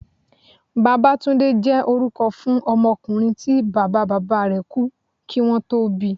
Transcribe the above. Babátúndé jẹ́ orúkọ fún ọmọkùnrin tí Bàbá bàbá rẹ̀ kú kí wón tó bíi.